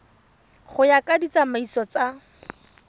go ya ka ditsamaiso tsa